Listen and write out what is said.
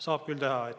Saab küll teha.